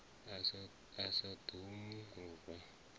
a sa ḓo mu rwa